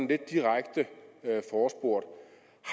lidt direkte forespurgt